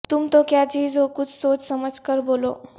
تم تو کیا چیز ہو کچھ سوچ سمجھ کر بولو